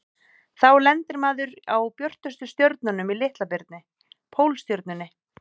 Þá lendir maður á björtustu stjörnunni í Litla-birni, Pólstjörnunni.